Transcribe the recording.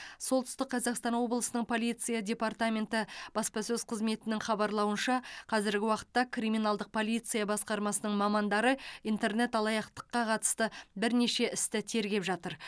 солтүстік қазақстан облысының полиция департаменті баспасөз қызметінің хабарлауынша қазіргі уақытта криминалдық полиция басқармасының мамандары интернет алаяқтыққа қатысты бірнеше істі тергеп жатыр